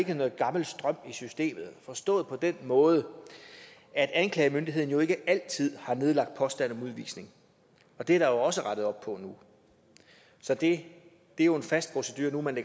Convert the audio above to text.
noget gammel strøm i systemet forstået på den måde at anklagemyndigheden jo ikke altid har nedlagt påstand om udvisning og det er der også rettet op på nu så det er jo en fast procedure nu at man